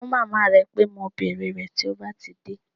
Ṣọ fún màmá rẹ pé mo bèrè rẹ̀ tí ó bá ti dé